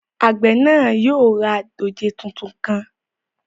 Àgbẹ̀ náà yóò ra dòjé tuntun kan